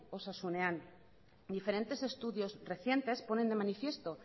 osasunean diferentes estudios recientes ponen de manifiesto